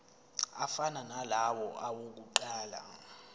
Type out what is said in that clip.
afana nalawo awokuqala